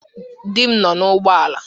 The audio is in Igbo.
Dị m nọ n'ụgbọ ala